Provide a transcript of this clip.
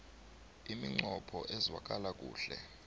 iminqopho ezwakala kuhle